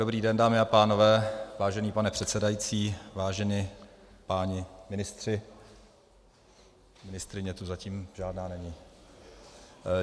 Dobrý den, dámy a pánové, vážený pane předsedající, vážení páni ministři - ministryně tu zatím žádná není.